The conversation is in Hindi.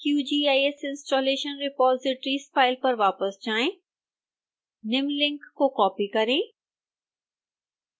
qgis installation repositories फाइल पर वापस जाएं निम्न लिंक को कॉपी करें